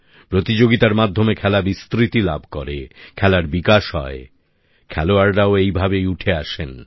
প্রতিযোগিতার মাধ্যমে খেলা বিস্তৃতি লাভ করে খেলার বিকাশ হয় খেলোয়াড়াও এভাবেই উঠে আসেন